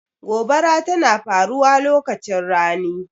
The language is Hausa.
Gobara tana faruwa lokacin rani.